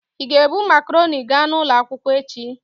Ị ga-ebu makarọnị ga n'ụlọ akwụkwọ echi?